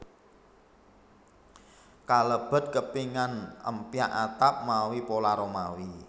Kalebet kepingan empyak atap mawi pola Romawi